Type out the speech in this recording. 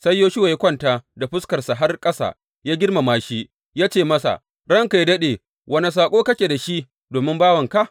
Sai Yoshuwa ya kwanta da fuskarsa har ƙasa, ya girmama shi, ya ce masa, Ranka yă daɗe, wane saƙo kake da shi domin bawanka?